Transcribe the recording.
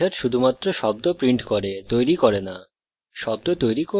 কিন্তু এই method শুধুমাত্র শব্দ prints করে শব্দ তৈরি করে না